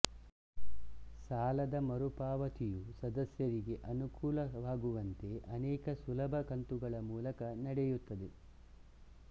ಸಾಲದ ಮರುಪಾವತಿಯು ಸದಸ್ಯರಿಗೆ ಅನುಕೂಲವಾಗುವಂತೆ ಅನೇಕ ಸುಲಭ ಕಂತುಗಳ ಮೂಲಕ ನಡೆಯುತ್ತದೆ